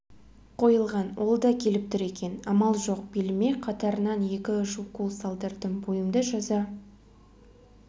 қойылған ол да келіп тұр екен амал жоқ беліме қатарынан екі-үш укол салдырдым бойымды жаза